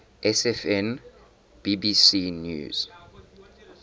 sfn bbc news